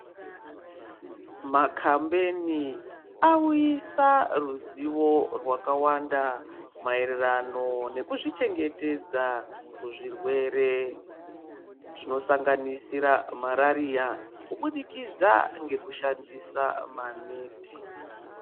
Makhambeni awuyisa ruzivo rwakawanda, maererano nekuzvichengetedza kuzvirwere, zvinosanganisira mariariya, kubudikidza ngekushandisa maneti.